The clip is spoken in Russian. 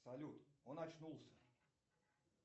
салют он очнулся